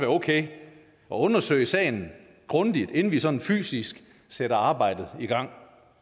okay at undersøge sagen grundigt inden vi sådan fysisk sætter arbejdet i gang